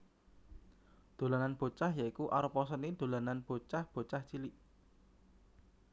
Dolanan Bocah ya iku arupa seni dolanan bocah bocah cilik